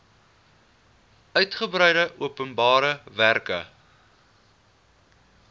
uitgebreide openbare werke